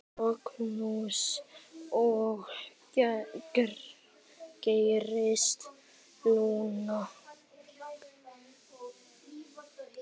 Magnús: Og hvað gerist núna?